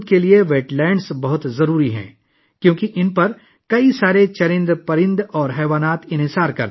wait lands یا آبی ذخائر ہماری زمین کے وجود کے لیے بہت اہم ہیں، کیونکہ بہت سے پرندے اور جانور ان پر انحصار کرتے ہیں